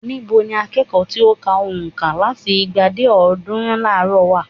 Ní bo ni akẹ́kọ̀ọ́ tí ó ka ònka láti igba dé ọ̀ọ́dúnrún láàárò wà?